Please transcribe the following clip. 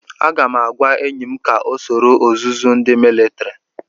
Aga m agwa enyi m ka ọ soro ọzụzụ ndi militiri.